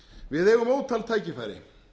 við eigum ótal tækifæri